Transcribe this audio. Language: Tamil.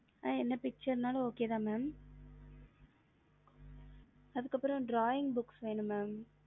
mam எந்த okay தா mam அதுக்கு அப்புறம் drawing picture வேணும் mam